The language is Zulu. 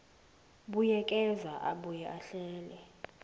buyekeza abuye ahlele